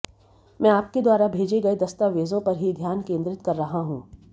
मैं आपके द्वारा भेजे गए दस्तावेजों पर ही ध्यान केंद्रित कर रहा हूं